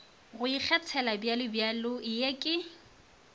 go ikgethela bjalobjalo ye ke